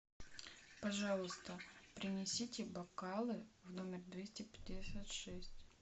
пожалуйста принесите бокалы в номер двести пятьдесят шесть